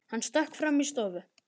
Hann stökk fram í stofu.